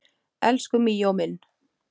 Elsku Míó minn